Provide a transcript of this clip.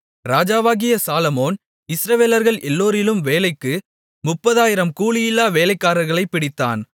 ராஜாவாகிய சாலொமோன் இஸ்ரவேலர்கள் எல்லோரிலும் வேலைக்கு 30000 கூலியில்லா வேலைக்காரர்களைப் பிடித்தான்